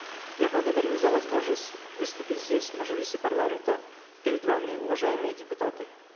я благодарю за возможность выступить здесь в мажилисе парламента перед вами уважаемые депутаты